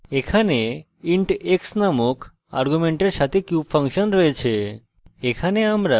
এখানে int x নামক argument সাথে cube ফাংশন রয়েছে